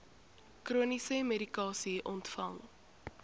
chroniese medikasie ontvang